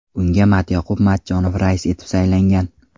Unga Matyoqub Matchonov rais etib saylangan .